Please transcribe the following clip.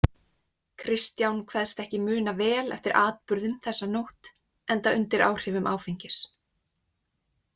Kristján kveðst ekki muna vel eftir atburðum þessa nótt, enda undir áhrifum áfengis.